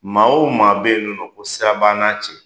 Maa o maa be yen nɔ ko sira b'an na cɛ